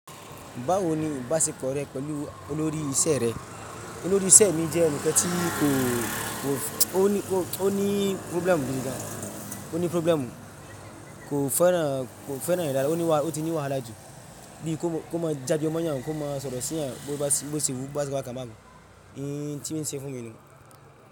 Báwo ni ibásepọ̀ rẹ́ pẹ̀lú olórí iṣẹ́ rẹ? Olórí iṣẹ́ mi jẹ́ ẹnìkan tí kò, ó ní, ó ní problem gidigán n, ó ní problem kò fẹ́ràn, kò fẹ́ràn ira, ó ti ní wàhálà jù bí kò mọ, jágbe mọ́ yan, kò mọ sọ̀rọ̀ sí yan, bó ṣe wù ú bá ṣẹ bá kan bá kan. Ehn tí o ń ṣe fún mi nu.